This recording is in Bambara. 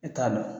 E t'a dɔn